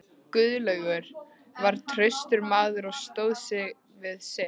Guðlaugur var traustur maður og stóð við sitt.